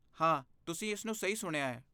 ਹਾਂ, ਤੁਸੀਂ ਇਸ ਨੂੰ ਸਹੀ ਸੁਣਿਆ ਹੈ।